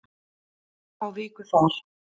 Þær fá viku þar.